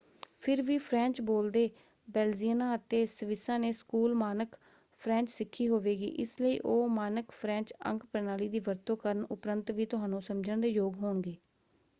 ਫਿਰ ਵੀ ਫਰੈਂਚ ਬੋਲਦੇ ਬੇਲਜ਼ੀਅਨਾਂ ਅਤੇ ਸਵਿਸਾਂ ਨੇ ਸਕੂਲ ਮਾਨਕ ਫਰੈਂਚ ਸਿੱਖੀ ਹੋਵੇਗੀ ਇਸ ਲਈ ਉਹ ਮਾਨਕ ਫਰੈਂਚ ਅੰਕ ਪ੍ਰਣਾਲੀ ਦੀ ਵਰਤੋਂ ਕਰਨ ਉਪਰੰਤ ਵੀ ਤੁਹਾਨੂੰ ਸਮਝਣ ਦੇ ਯੋਗ ਹੋਣਗੇ।